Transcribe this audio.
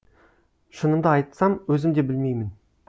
шынымды айтсам өзім де білмеймін